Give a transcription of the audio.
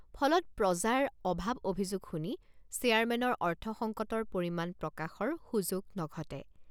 ফলত প্ৰজাৰ অভাৱ অভিযোগ শুনি চেয়াৰমেনৰ অৰ্থসংকটৰ পৰিমাণ প্ৰকাশৰ সুযোগ নঘটে।